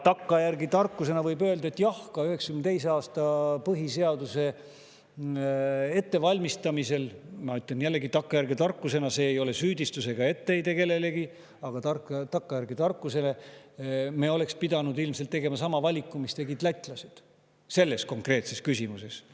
Takkajärgi tarkusena võib öelda, et jah, ka 1992. aasta põhiseaduse ettevalmistamisel – ma ütlen jällegi takkajärgi tarkusena, see ei ole süüdistus ega etteheide kellelegi, vaid takkajärgi tarkus – me oleks pidanud ilmselt tegema sama valiku, mille tegid lätlased selles konkreetses küsimuses.